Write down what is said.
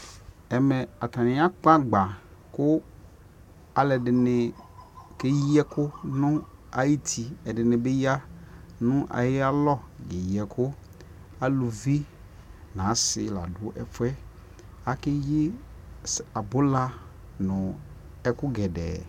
ɛkɛ atani akpɔ agba kʋ alʋɛdini kɛyi ɛkʋ nʋ ayiti, ɛdini bi ya nʋ ayi alɔ kɛyi ɛkʋ ,alʋvi nʋ asii ladʋ ɛƒʋɛ, akɛyi abʋla nʋɛkʋ gɛdɛɛ